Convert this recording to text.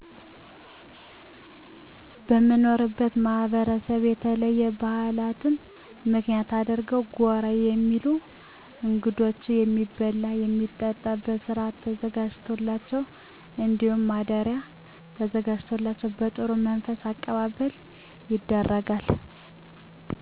በምኖርበት ማህበረሰብ በተለይ ባህላትን ምክንያት አድርገው ጎራ የሚሉ እንግዶች የሚበላ የሚጠጣ በስርአት ተዘጋጅቶላቸው እንዲሁም ማደሪያ ተዘጋጅቶላቸው በጥሩ መንፈስ አቀባበል ይደረጋል።